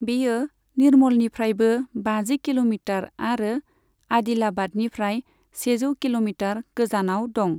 बेयो निर्मलनिफ्रायबो बाजि किल'मिटार आरो आदिलाबादनिफ्राय सेजौ किल'मिटार गोजानाव दं।